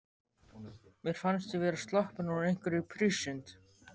Mér fannst ég vera sloppin úr einhverri prísund.